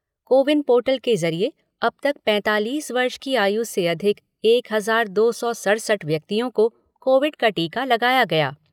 CoWIN portal के ज़रिए अब तक पैंतालीस वर्ष की आयु से अधिक एक हजार दो सौ सढ़सठ व्यक्तियों को कोविड का टीका लगाया गया।